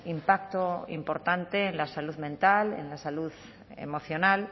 impacto importante en la salud mental en la salud emocional